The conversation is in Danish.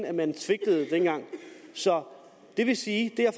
at man svigtede dengang så det vil sige